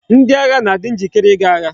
Ndi agha na adi njikere i ga agha